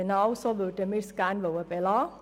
Genau dabei möchten wir es gerne belassen.